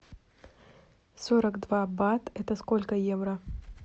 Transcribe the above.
сорок два бат это сколько евро